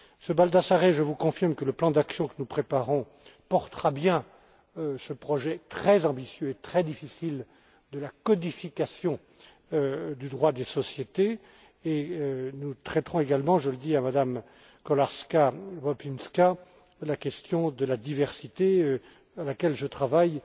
Monsieur Baldassarre, je vous confirme que le plan d'action que nous préparons portera bien ce projet très ambitieux et très difficile de la codification du droit des sociétés et nous traiterons également je le dis à Madame Kolarska Bobińska la question de la diversité, à laquelle je travaille